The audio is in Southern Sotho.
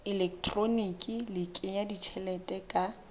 elektroniki le kenya tjhelete ka